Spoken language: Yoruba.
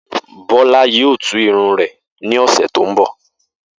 Bó̩lá yóò tú irun rè̩ ní ò̩sè̩ tó ń bò̩